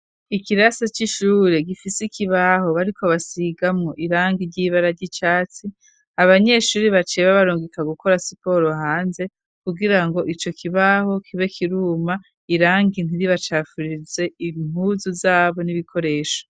Ikirasi c'ishure, gifise ikibaho bariko basigamwo ry'irangi c'icatsi, abanyeshure baciye babarungika gukora siporo hanze, kugirango ico kibaho kibe kiruma, irangi ntiribacafurize impuzu zabo n'ibikoresho.